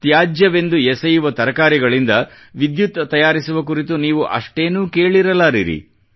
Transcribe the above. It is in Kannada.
ತ್ಯಾಜ್ಯವೆಂದು ಎಸೆಯುವ ತರಕಾರಿಗಳಿಂದ ವಿದ್ಯುತ್ ತಯಾರಿಸುವ ಕುರಿತು ನೀವು ಅಷ್ಟೇನೂ ಕೇಳಿರಲಾರಿರಿ